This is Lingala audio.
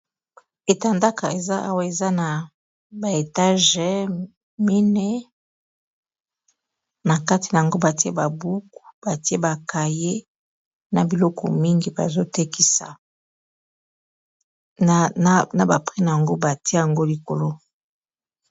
Etandaka eza awa eza na ba etage mineyi na kati nango batie ba buku batie bakaye na biloko mingi bazotekisa na ba prix nango batie yango likolo.